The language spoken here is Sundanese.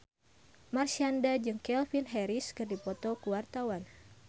Marshanda jeung Calvin Harris keur dipoto ku wartawan